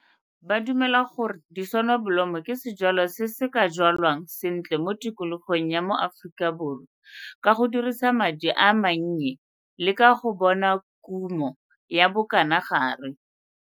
Ba dumela gore disonobolomo ke sejwalwa se se ka jwalwang sentle mo tikologong ya mo Afrikaborwa ka go dirisa madi a mannye le ka go bona kumo ya bokanagare.